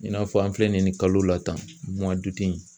I n'a fɔ an filɛ nin kalo la tan